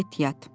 Get yat!